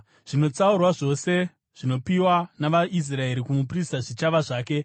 Zvinotsaurwa zvose zvinopiwa navaIsraeri kumuprista zvichava zvake.